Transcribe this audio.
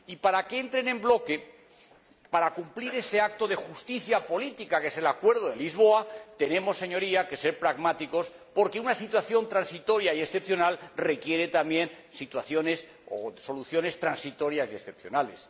Y para que entren en bloque, para cumplir ese acto de justicia política que es el acuerdo de Lisboa, Señorías, tenemos que ser pragmáticos, porque una situación transitoria y excepcional requiere también situaciones o soluciones transitorias y excepcionales.